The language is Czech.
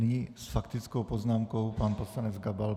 Nyní s faktickou poznámkou pan poslanec Gabal.